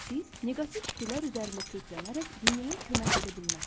Siz neqativ fikirlər üzərində köklənərək dünyaya kömək edə bilməzsiniz.